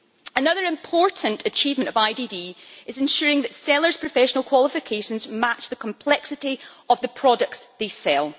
Another important achievement of IDD is ensuring that sellers' professional qualifications match the complexity of the products they sell.